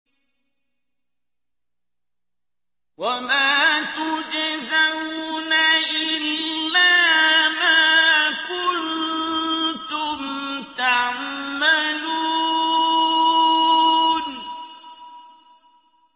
وَمَا تُجْزَوْنَ إِلَّا مَا كُنتُمْ تَعْمَلُونَ